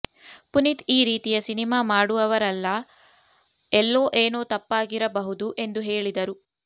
ಪುನೀತ್ ಈ ರೀತಿಯ ಸಿನಿಮಾ ಮಾಡುವವವರಲ್ಲ ಎಲ್ಲೋ ಏನೋ ತಪ್ಪಾಗಿರಬಹುದು ಎಂದು ಹೇಳಿದರು